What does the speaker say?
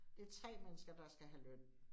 Det 3 mennesker, der skal have løn